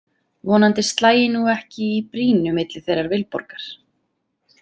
Vonandi slægi nú ekki í brýnu milli þeirrar Vilborgar.